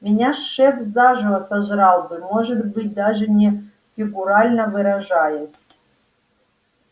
меня шеф заживо сожрал бы может быть даже не фигурально выражаясь